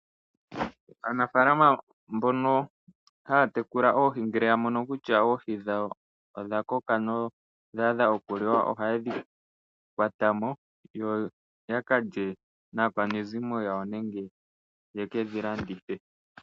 Aanafalama mbono haya tekula oohi ngele ya mono kutya oohi dhawo odha koka nodha adha oku liwa oha yedhi kwata mo yo ya kalye naakwanezimo yawo nenge ye kedhi landithe.